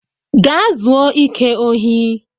Gaa zuo ike ohi!